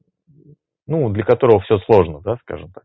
ну для которого все сложно да скажем так